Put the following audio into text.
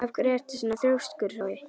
Af hverju ertu svona þrjóskur, Hrói?